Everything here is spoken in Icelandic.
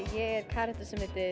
karakter sem heitir